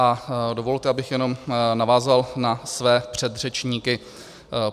A dovolte, abych jenom navázal na své předřečníky.